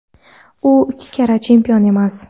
U ikki karra chempion emas.